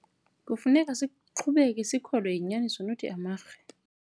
Kufuneka siqhubeke sikhokelwa yinyaniso not amarhe.